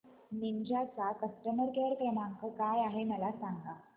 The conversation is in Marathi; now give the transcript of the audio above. निंजा चा कस्टमर केअर क्रमांक काय आहे मला सांगा